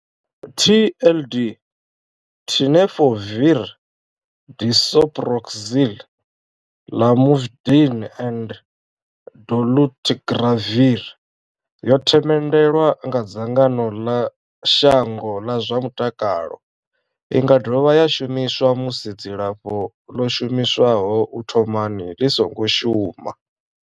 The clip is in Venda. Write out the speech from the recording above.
TLD, Tenofovir disoproxil, Lamivudine and dolutegravir, yo themendelwa nga dzangano ḽa shango ḽa zwa mutakalo. I nga dovha ya shumiswa musi dzilafho ḽo shumiswaho u thomani ḽi songo shuma.